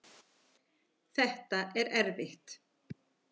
Þetta er erfitt